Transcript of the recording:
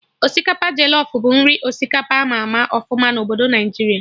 Osikapa jọlọf bụ nri osikapa ama ama ọfụma na obodo Naijiria